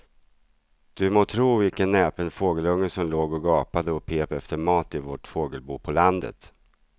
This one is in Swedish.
Du må tro vilken näpen fågelunge som låg och gapade och pep efter mat i vårt fågelbo på landet.